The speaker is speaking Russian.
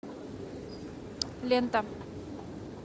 лента